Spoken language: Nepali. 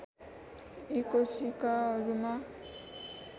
यी कोशिकाहरूमा